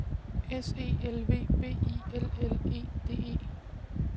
S E L V B I L L E D E